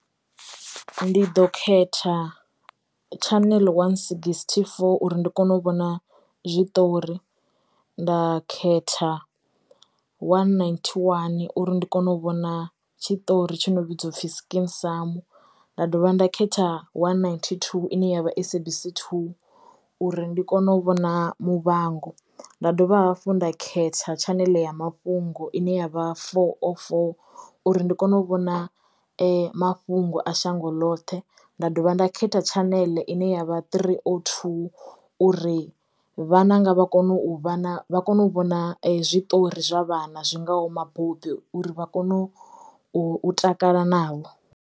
Ndi ḓo khetha channel one sixty-four uri ndi kono u vhona zwiṱori, nda khetha one nighty one uri ndi kono u vhona tshitori tshi no vhidzwa upfi Skeem Saam, nda dovha nda khetha one nigety two ine yavha SABC 2 uri ndi kono u vhona Muvhango. Nda dovha hafhu nda khetha channel ya mafhungo ine yavha four oh four uri ndi kono u vhona mafhungo a shango ḽoṱhe, nda dovha nda khetha channel ine yavha three zero two uri vhananga vha kono u vha na vha kono u vhona zwiṱori zwa vhana zwingaho mabopi uri vha kone u takala navho.